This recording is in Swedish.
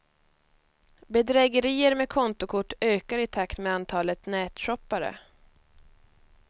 Bedrägerier med kontokort ökar i takt med antalet nätshoppare.